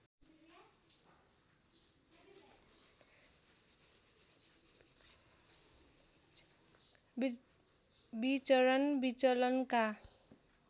विचरण विचलनका